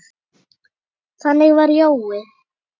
Þannig var Jói.